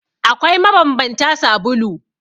Akwai mabanbantan sabulu.